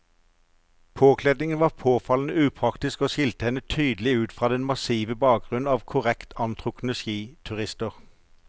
Påkledningen var påfallende upraktisk og skilte henne tydelig ut fra den massive bakgrunnen av korrekt antrukne skiturister.